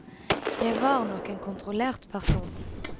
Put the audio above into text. Jeg var nok en kontrollert person.